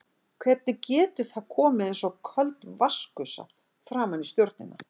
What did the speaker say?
Hvernig getur það komið eins og köld vatnsgusa framan í stjórnina?